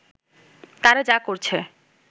তারা যা করছে